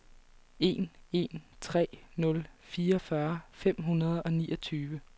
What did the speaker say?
en en tre nul fireogfyrre fem hundrede og niogtyve